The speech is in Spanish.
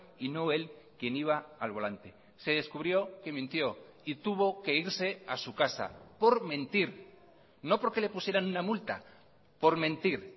y no él quien iba al volante se descubrió que mintió y tuvo que irse a su casa por mentir no porque le pusieran una multa por mentir